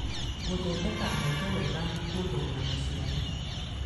Gũthondeka honge wega na kwongerera maciaro